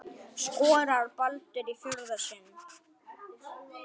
Skorar Baldur í fjórða sinn?